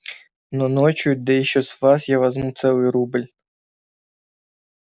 но ночью да ещё с вас я возьму целый рубль